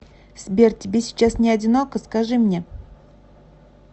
сбер тебе сейчас не одиноко скажи мне